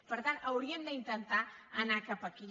per tant hauríem d’intentar anar cap aquí